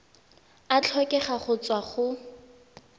a tlhokega go tswa go